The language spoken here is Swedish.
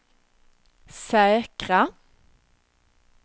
säkra